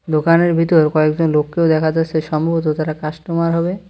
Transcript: দোকানের ভিতর কয়েকজন লোককেও দেখা যাচ্ছে সম্ভবত তারা কাস্টমার হবে।